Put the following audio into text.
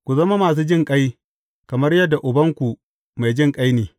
Ku zama masu jinƙai, kamar yadda Ubanku mai jinƙai ne.